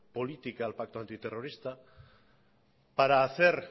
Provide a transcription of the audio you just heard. política al pacto antiterrorista para hacer